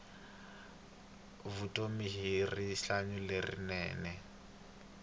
vutomi i rihanyu lerinene